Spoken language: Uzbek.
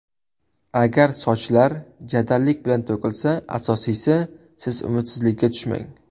Agar sochlar jadallik bilan to‘kilsa, asosiysi, siz umidsizlikka tushmang.